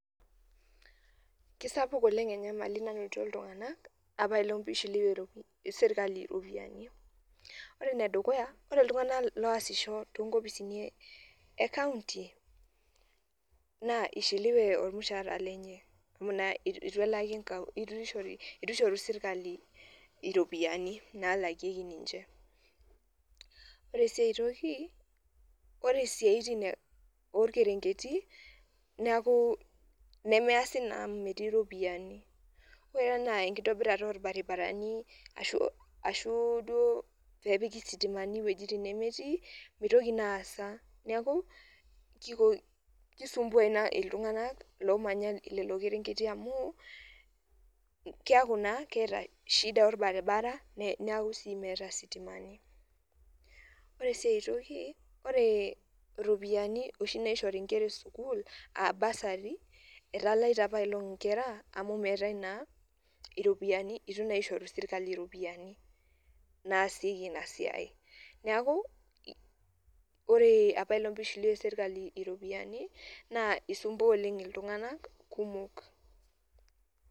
Keisapuk oleng enyamali nanoto iltunganak apaelong eishiliwie serkali ropiyiani ,ore ene dukuya, ore iltungana ooasisho too nkopisini e kaunti naa eishiliwe olmushaara lenye amu eitu elaki kaunti eitu eishoru serkali ropiyiani naalakieki ninche, ore sii aitoki, ore siatin oolkerenketi neaku nemeesi naa amu metii ropiyiani ,ore ana enkitobirata oolbaribarani ashu duo pee epiki sitimani ewueji nemetii meitoki naa aasa, neeku keisumbua ina iltungana loomanaya lelo kerenketi amuu keeku naa keeta shida olbaribara naa keeku sii meeta sitimani, ore sii aitoki oree ropiyiani oshi naishori nkera e sukuul aa bursary etalaita apaelong inkera amu meetae naa amu eitu naa eishoru serkali ropiyiani naasieki ina siai, neeku ore apaelong pee eishiliwie serkali ropiyiani naa eisumbua oleng iltunganak kumok.